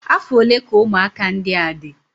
Afọ ole ka ụmụaka ndị a dị?